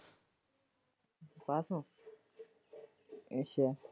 ਪਾਸ ਹੋ ਅੱਛਾ।